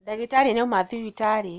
Ndagĩtarĩ nĩauma thibitarĩ